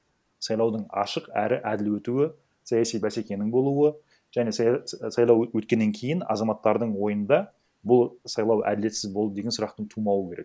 сайлаудың ашық әрі әділ өтуі саяси бәсекенің болуы және сайлау өткеннен кейін азаматтардың ойында бұл сайлау әділетсіз болды деген сұрақтың тумауы керек